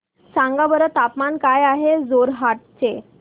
सांगा बरं तापमान काय आहे जोरहाट चे